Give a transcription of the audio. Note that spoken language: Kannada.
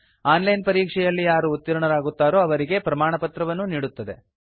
ಆನ್ ಲೈನ್ ಪರೀಕ್ಷೆಯಲ್ಲಿ ಯಾರು ಉತ್ತೀರ್ಣರಾಗುತ್ತಾರೋ ಅವರಿಗೆ ಪ್ರಮಾಣಪತ್ರವನ್ನೂ ನೀಡುತ್ತದೆ